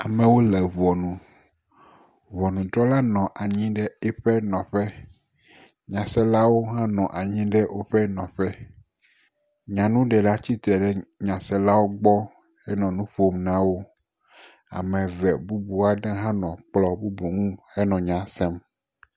Amewo le ŋɔnu. Ŋɔnudrɔla nɔ anyi ɖe eƒe nɔƒe. Nyaselawo hã nɔ anyi ɖe woƒe nɔƒɔ. Nyanuɖela tsitre ɖe nyaselawo gbɔ henɔ nu ƒom na wo. Ame eve bubu aɖe hã nɔ kplɔ̃ bubu aɖe ŋu henɔ nya sem.